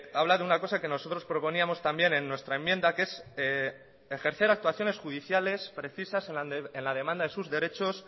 habla de una cosa que nosotros proponíamos también en nuestra enmienda que es ejercer actuaciones judiciales precisas en la demanda de sus derechos